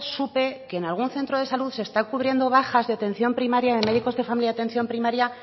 supe que en algún centro de salud se están cubriendo bajas de atención primaria de médicos de familia de atención primaria